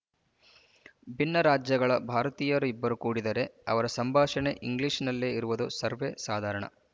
ಭಿನ್ನ ರಾಜ್ಯಗಳ ಭಾರತೀಯರು ಇಬ್ಬರು ಕೂಡಿದರೆ ಅವರ ಸಂಭಾಷಣೆ ಇಂಗ್ಲಿಶಿನಲ್ಲೇ ಇರುವುದು ಸರ್ವೇ ಸಾಧಾರಣ